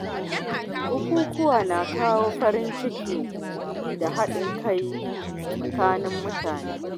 Bukukuwa na kawo farin ciki da haɗin kai tsakanin mutane.